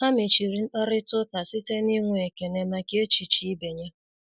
Ha mechiri mkparịta ụka site n'inwe ekele maka echiche ibe ya.